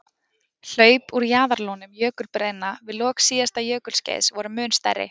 Hlaup úr jaðarlónum jökulbreiðna við lok síðasta jökulskeiðs voru mun stærri.